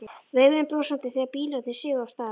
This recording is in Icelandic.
Veifuðum brosandi þegar bílarnir sigu af stað.